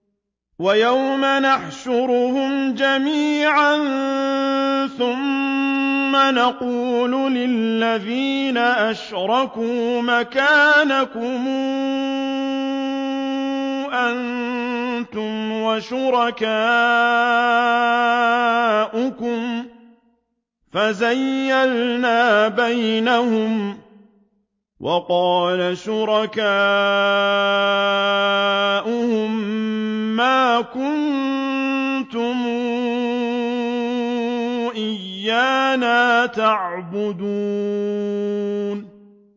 وَيَوْمَ نَحْشُرُهُمْ جَمِيعًا ثُمَّ نَقُولُ لِلَّذِينَ أَشْرَكُوا مَكَانَكُمْ أَنتُمْ وَشُرَكَاؤُكُمْ ۚ فَزَيَّلْنَا بَيْنَهُمْ ۖ وَقَالَ شُرَكَاؤُهُم مَّا كُنتُمْ إِيَّانَا تَعْبُدُونَ